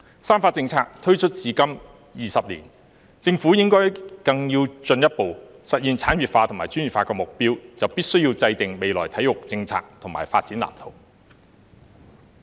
"三化政策"推出至今20年，政府要更進一步實現產業化和專業化的目標，便必須制訂未來體育政策及發展藍圖。